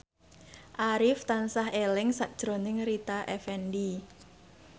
Arif tansah eling sakjroning Rita Effendy